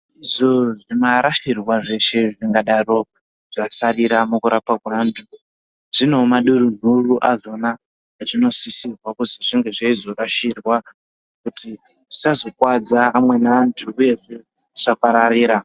Izvo zvimarashirwa zveshe zvinodaro zvasarira mukurapwa kwevantu zvine mahuduru azvona azvinosisirwa kuzi zvinge zveizorashirwa kuti tisazokuwadza amweni antu uyezve zvisapararira.